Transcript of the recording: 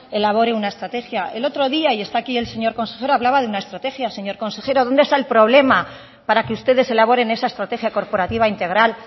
elabore una estrategia el otro día y está aquí el señor consejero hablaba de una estrategia señor consejero dónde está el problema para que ustedes elaboren esa estrategia corporativa integral